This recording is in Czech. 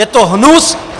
Je to hnus!